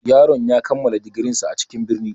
Yaron ya kammala digirinsa a cikin birni.